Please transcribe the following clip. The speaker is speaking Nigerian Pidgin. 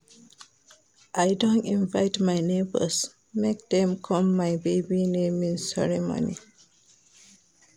I don invite my neibors make dem come my baby naming ceremony.